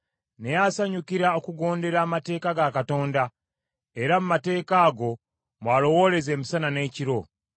Naye asanyukira okugondera amateeka ga Mukama , era mu mateeka ago mw’alowooleza emisana n’ekiro.